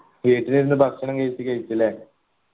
വീട്ടിലിരുന്ന് ഭക്ഷണം കഴിച് കഴിച്ചല്ലേ